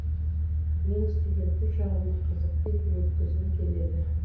мен студенттік шағымды қызықты етіп өткізгім келеді